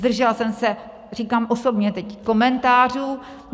Zdržela jsem se, říkám osobně teď, komentářů.